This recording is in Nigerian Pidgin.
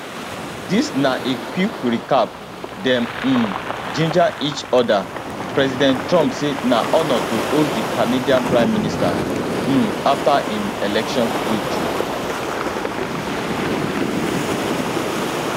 dis na a quick recap dem um ginger each odapresident trump say na honour to host di canadian prime minister um afta im election victory